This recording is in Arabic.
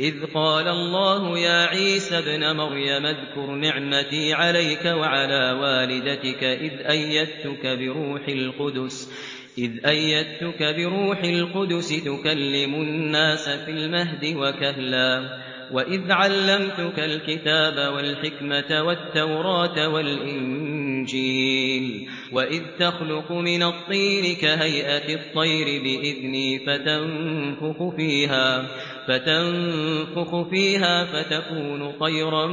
إِذْ قَالَ اللَّهُ يَا عِيسَى ابْنَ مَرْيَمَ اذْكُرْ نِعْمَتِي عَلَيْكَ وَعَلَىٰ وَالِدَتِكَ إِذْ أَيَّدتُّكَ بِرُوحِ الْقُدُسِ تُكَلِّمُ النَّاسَ فِي الْمَهْدِ وَكَهْلًا ۖ وَإِذْ عَلَّمْتُكَ الْكِتَابَ وَالْحِكْمَةَ وَالتَّوْرَاةَ وَالْإِنجِيلَ ۖ وَإِذْ تَخْلُقُ مِنَ الطِّينِ كَهَيْئَةِ الطَّيْرِ بِإِذْنِي فَتَنفُخُ فِيهَا فَتَكُونُ طَيْرًا